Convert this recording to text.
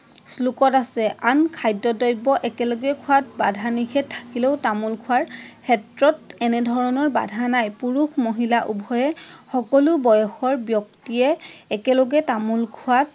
শ্লোকত আছে । আন খাদ্য দব্য একেলগে খোৱাত বাধা নিষধ থাকিলেও তামোল খোৱাৰ ক্ষেত্ৰত এনেধৰণৰ বাধা নাই। পুৰুষ মহিলা উভয়ে, সকলো বয়সৰ ব্যক্তিয়ে একেলগে তামোল খোৱাত